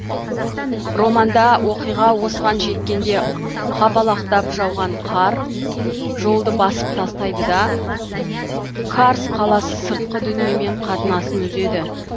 романда оқиға осыған жеткенде қапалақтап жауған қар жолды басып тастайды да карс қаласы сыртқы дүниемен қатынасын үзеді